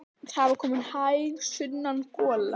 Það var komin hæg sunnan gola.